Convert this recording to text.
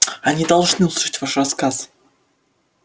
они должны услышать ваш рассказ